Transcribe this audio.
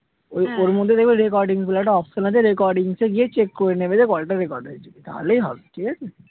ওর মধ্যে দেখবে recording বলে একটা option আছে। recordings এ গিয়ে check করে নেবে যে, কলটা record হয়েছে কি? তাহলেই হবে ঠিকাছে?